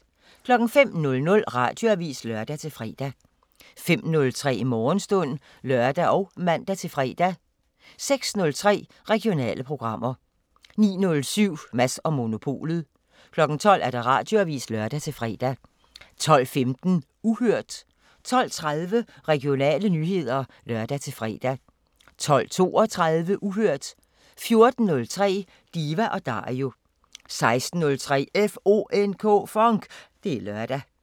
05:00: Radioavisen (lør-fre) 05:03: Morgenstund (lør og man-fre) 06:03: Regionale programmer 09:07: Mads & Monopolet 12:00: Radioavisen (lør-fre) 12:15: Uhørt 12:30: Regionale nyheder (lør-fre) 12:32: Uhørt 14:03: Diva & Dario 16:03: FONK! Det er lørdag